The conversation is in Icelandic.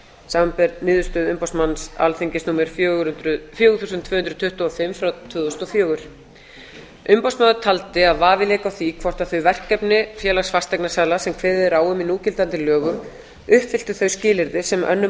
samanber niðurstöðu umboðsmanns alþingis númer fjögur þúsund tvö hundruð tuttugu og fimm frá tvö þúsund og fjögur umboðsmaður taldi að vafi léki á því hvort þau verkefni félags fasteignasala sem kveðið er á um í núgildandi lögum uppfyllti þau skilyrði sem önnur